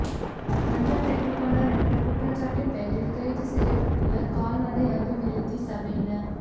இலஞ்சம் பெற்றுக்கொண்டார் என்ற குற்றச்சாட்டின் பேரில் கைது செய்யப்பட்டுள்ள கால்நடை அபிவிருத்தி சபையின